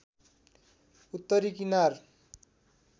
उत्तरी कनार